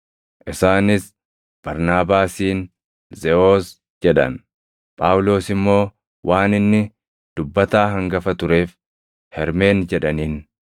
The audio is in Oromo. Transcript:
Isaanis Barnaabaasiin, “Zeʼoos” jedhan; Phaawulos immoo waan inni dubbataa hangafa tureef, “Hermeen” jedhaniin.